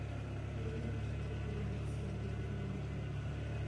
Be inyalo tiyo gi brooder mar simo e pidho gwen matindo?